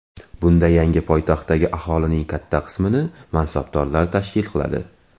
Bunda yangi poytaxtdagi aholining katta qismini mansabdorlar tashkil qiladi.